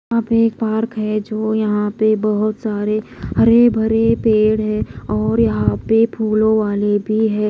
वहां पे एक पार्क है जो यहां पे बहोत सारे हरे भरे पेड़ है और यहां पे फूलों वाले भी है।